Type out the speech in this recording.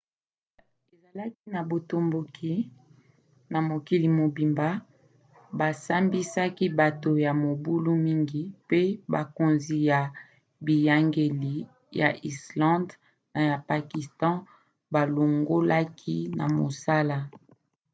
ezalaki na botomboki na mokili mobimba basambisaki bato ya mobulu mingi mpe bakonzi ya biyangeli ya islande na ya pakistan balongolaki na mosala